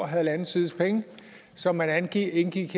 halvanden sides penge som man indgik